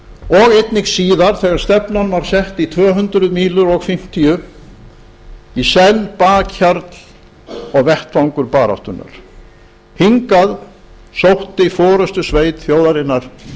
og einnig síðar þegar stefnan var sett á fimmtíu mílur og svo tvö hundruð í senn bakhjarl og vettvangur baráttunnar hingað sótti forustusveit þjóðarinnar